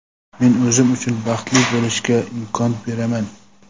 Men o‘zim uchun baxtli bo‘lishga imkon beraman!.